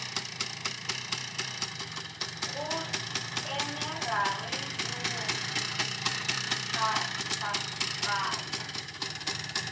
go tsenagare le go phathagatša